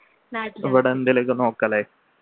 ഇവിടെ എന്തേലും ഒക്കെ നോക്കാല്ലേ